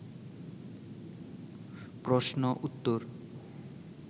প্রশ্ন উত্তর